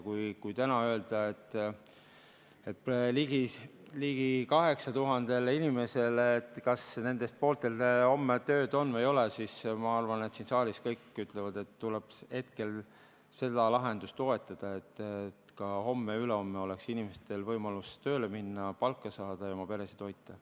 Kui täna öelda ligi 8000 inimesele, et, kas nendest pooltel homme tööd on või ei ole, siis ma arvan, et siin saalis kõik ütlevad, et tuleks hetkel seda lahendust toetada, et ka homme ja ülehomme oleks inimestel võimalus tööle minna, palka saada ja oma peret toita.